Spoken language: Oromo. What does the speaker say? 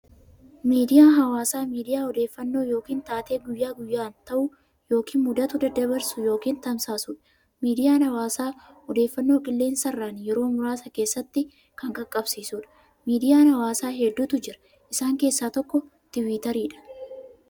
Miidiyaa hawaasaa miidiyaa odeeffannoo yookiin taatee guyyaa guyyaan ta'u yookiin mudatu daddabarsu yookiin tamsaasudha. Miidiyaan hawaasaa odeeffannoo qilleensarraan yeroo muraasa keessatti kan qaqqabsiisudha. Miidiyaan hawaasaa hedduutu jira. Isaan keessaa tokko "Twitter"dha.